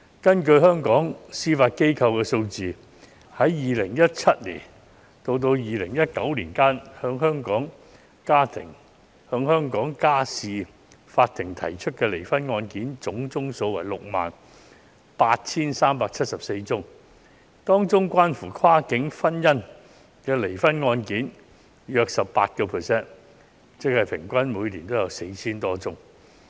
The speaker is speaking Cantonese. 根據香港司法機構的數字，在2017年至2019年期間，向香港家事法庭提出離婚的案件總數為 68,374 宗，當中涉及跨境婚姻的離婚案件約佔 18%， 即平均每年有 4,000 多宗。